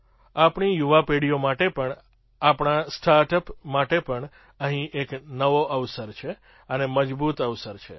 આપણી યુવા પેઢીઓ માટે પણ આપણા સ્ટાર્ટ અપ માટે પણ અહીં એક નવો અવસર છે અને મજબૂત અવસર છે